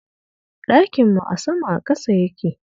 Ɗakin mu a sama a ƙasa yake